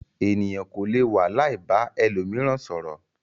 Ènìyàn kò lè wà láì ba ẹlòmíràn sọ̀rọ̀.